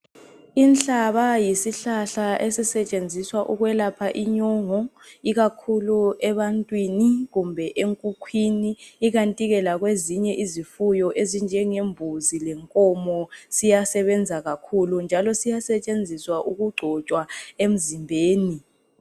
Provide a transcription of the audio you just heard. Inhlaba yisihlahla esisetshenziswa ukwelapha inyongo ikakhulu ebantwini kumbe enkukhwini ikanti ke lakwezinye izifuyo ezinjenge mbuzi lenkomo njalo siyasetshenziswa ukugcotshwa emzimbeni.